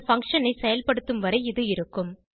அந்த பங்ஷன் ஐ செயல்படுத்தும் வரை இது இருக்கும்